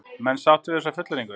Menn sáttir við þessa fullyrðingu?